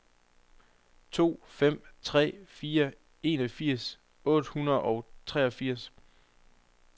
to fem tre fire enogfirs otte hundrede og treogfirs